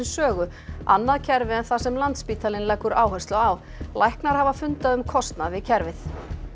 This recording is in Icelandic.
Sögu annað kerfi en það sem Landspítalinn leggur áherslu á læknar hafa fundað um kostnað við kerfið